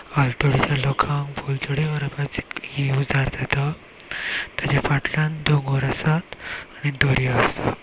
आलतडीच्या लोकांक पल्तडी व्हरपाचे ही उजार जाता तेजेफाटल्यान डोंगोर आसात आनी दोर्या आसा.